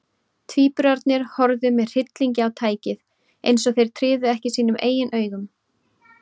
Tvíburarnir horfðu með hryllingi á tækið, eins og þeir tryðu ekki sínum eigin augum.